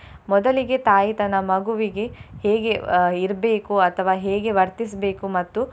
ಮೊದಲಿಗೆ ತಾಯಿ ತನ್ನ ಮಗುವಿಗೆ ಹೇಗೆ ಅಹ್ ಇರ್ಬೇಕು ಅಥವಾ ಹೇಗೆ ವರ್ತಿಸ್ಬೇಕು ಮತ್ತು.